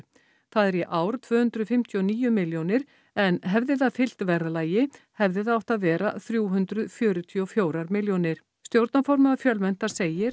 það er í ár tvö hundruð fimmtíu og níu milljónir en hefði það fylgt verðlagi hefði það átt að vera þrjú hundruð fjörutíu og fjórar milljónir stjórnarformaður Fjölmenntar segir